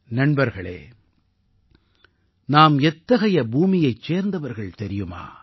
நண்பர்களே நாம் எத்தகைய பூமியைச் சேர்ந்தவர்கள் தெரியுமா